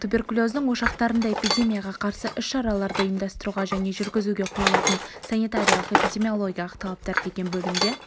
туберкулездің ошақтарында эпидемияға қарсы іс-шараларды ұйымдастыруға және жүргізуге қойылатын санитариялық-эпидемиологиялық талаптар деген бөлімде